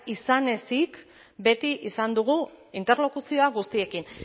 izan ezik beti izan dugu interlokuzioa guztiekin